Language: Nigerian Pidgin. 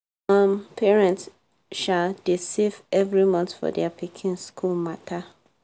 um parents um dey save every month for their pikin school matter.